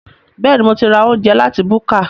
Bẹ́ẹ̀ni, mo ti ra oúnjẹ láti búkà